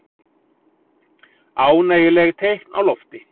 Ánægjuleg teikn á lofti